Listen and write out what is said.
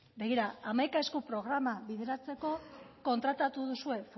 begira hamaika esku programa bideratzeko kontratatu duzue